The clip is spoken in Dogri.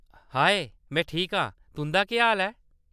हाए, में ठीक आं। तुंʼदा केह् हाल ऐ?